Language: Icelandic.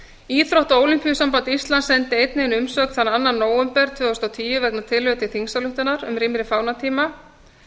íþrótta og ólympíusamband íslands sendi einnig inn umsögn þann annan nóvember tvö þúsund og tíu vegna tillögu til þingsályktunar um rýmri fánatíma